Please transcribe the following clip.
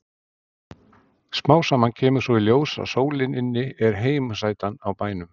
Smám saman kemur svo í ljós að sólin inni er heimasætan á bænum.